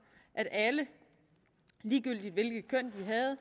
at alle ligegyldigt i